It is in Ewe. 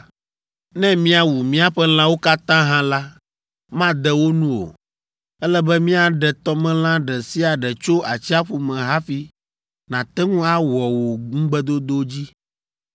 Ne míawu míaƒe lãwo katã hã la, made wo nu o! Ele be míaɖe tɔmelã ɖe sia ɖe tso atsiaƒu me hafi nàte ŋu awɔ wò ŋugbedodo dzi!”